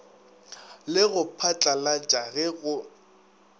le go phatlalatša ge go